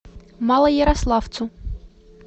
малоярославцу